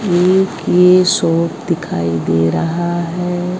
एक ये शॉप दिखाई दे रहा है।